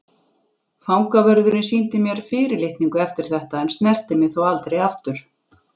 Fangavörðurinn sýndi mér fyrir litningu eftir þetta en snerti mig þó aldrei aftur.